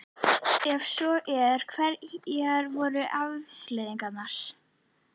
Ef svo er, hverjar voru afleiðingarnar?